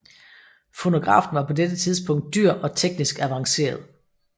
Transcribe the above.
Fonografen var på dette tidspunkt dyr og teknisk avanceret